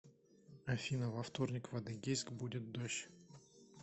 афина во вторник в адыгейск будет дождь